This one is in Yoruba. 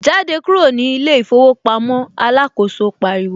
Jáde kúrò ní ilé ìfowópamọ́ ' alákòóso pariwo